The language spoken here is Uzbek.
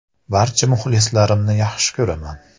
Barcha muxlislarimni yaxshi ko‘raman.